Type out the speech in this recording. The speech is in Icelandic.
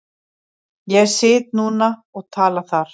Ég sit núna og tala þar.